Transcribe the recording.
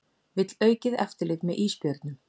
Vill aukið eftirlit með ísbjörnum